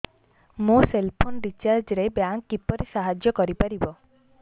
ମୋ cell phone recharge ରେ bank କିପରି ସାହାଯ୍ୟ କରିପାରିବ